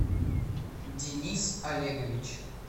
денис олегович